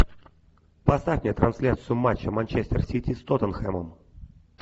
поставь мне трансляцию матча манчестер сити с тоттенхэмом